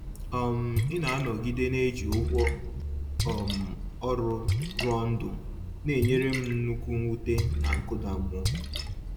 um Ịna-anọgide na-eji ụgwọ um ọrụ rụọ ndụ n’enyere m nnukwu mwute na nkụda mmụọ